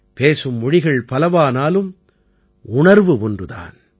பேசும் மொழிகள் பலவானாலும் உணர்வு ஒன்று தான்